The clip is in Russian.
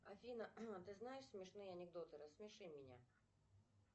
афина ты знаешь смешные анекдоты рассмеши меня